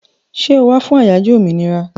Ṣẹ́ o wá fún àyájó òmìnira?